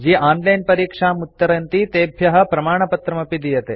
ये ऑनलाइन परीक्षाम् उत्तरन्ति तेभ्यः प्रमाणपत्रमपि दीयते